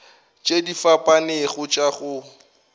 tše di fapanego tša go